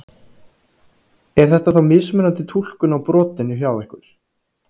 Er þetta þá mismunandi túlkun á brotinu hjá ykkur?